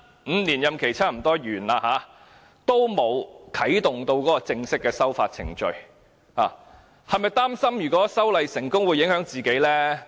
五年任期差不多完結，仍然沒有啟動正式的修法程序，他是否擔心修例成功會影響自己？